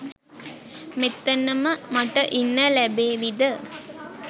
මෙතනම මට ඉන්න ලැබේවිද?